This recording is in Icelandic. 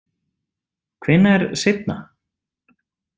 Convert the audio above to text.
Hvenær seinna?